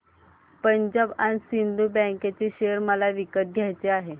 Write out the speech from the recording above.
Punjab and Sind bank share मला विकत घ्यायचे आहेत